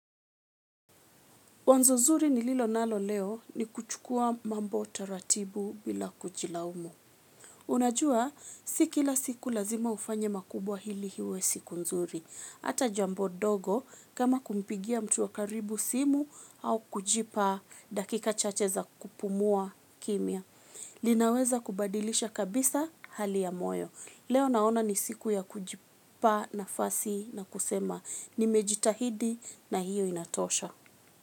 Wazo zuri nililo nalo leo ni kuchukua mambo taratibu bila kujilaumu unajua si kila siku lazima ufanye makubwa ili iwe siku nzuri. Ata jambo ndogo kama kumpigia mtu wa karibu simu au kujipa dakika chache za kupumua kimya. Linaweza kubadilisha kabisa hali ya moyo. Leo naona ni siku ya kujipa nafasi na kusema nimejitahidi na hiyo inatosha.